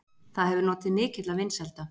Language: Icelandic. Það hefur notið mikilla vinsælda.